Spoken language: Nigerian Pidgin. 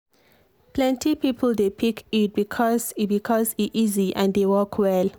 plenty people dey pick iud because e because e easy and dey work well.